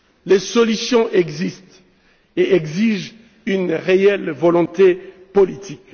Les solutions existent et exigent une réelle volonté politique.